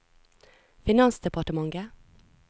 finansdepartementet